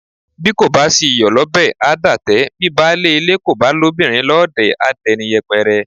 Bí kò sí iyọ̀ lọ́bẹ̀, a dátẹ; bi baálé ilé kò bá lóbìnrin lọ́ọ̀dẹ̀ a dẹni yẹpẹrẹ.